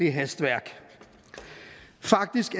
hastværk faktisk